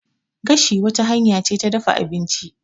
Gashi wata hanya ce ta dafa abinci.